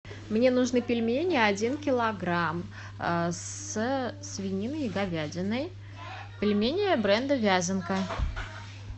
мне нужны пельмени один килограмм с свининой и говядиной пельмени бренда вязанка